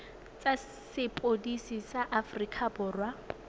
tsa sepodisi sa aforika borwa